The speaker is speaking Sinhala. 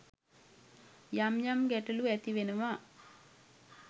යම් යම් ගැටලු ඇති වෙනවා.